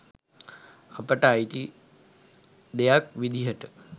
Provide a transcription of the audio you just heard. අපට අයිති දෙයක් විදිහට